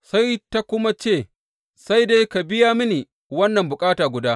Sai ta kuma ce, Sai dai, ka biya mini wannan bukata guda.